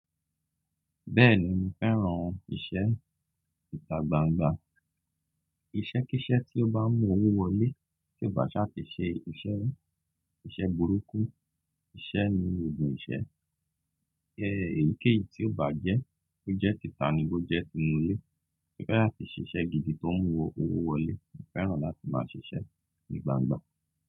Bẹ́ẹ̀ni mo fẹ́ràn ìṣe ìta gbangba, iṣẹ́ kí iṣẹ́ tí ó bá ń mú owó wọlé, tí ó bá ṣà ti ṣe iṣẹ́, iṣẹ́ burúkú, iṣẹ́ ni òògùn iṣẹ́. Ẹ èyíkéyìí tí ó bá jẹ́, bó jẹ́ títà ni bó jẹ́ tínú ilé, mo fẹ́ láti ṣiṣẹ́ gidi tó ń mú owó wọlé. Mo fẹ́ràn láti máa ṣiṣẹ́ ní gbangba.